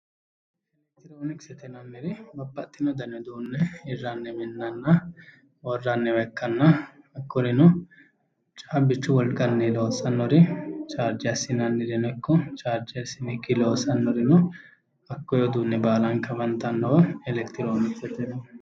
Electroniksete yinanniri babbaxxino dani uduunne hirranni minnanna worranniwa ikkanna hakkurino caabbichu wolqanni loossannori charge assinannireno ikko charge assinikkii loossannorino hakkoye uduunne baalanka afantannowa electroniksete yineemmo